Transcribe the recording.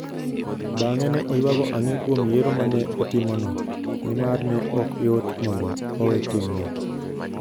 Bang'e ne oyuago ang'e kuom yiero ma ne otimono, nimar ne ok yot mondo owe timno.